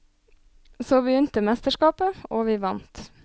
Så begynte mesterskapet, og vi vant.